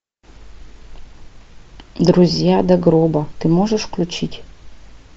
друзья до гроба ты можешь включить